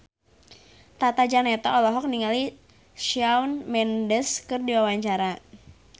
Tata Janeta olohok ningali Shawn Mendes keur diwawancara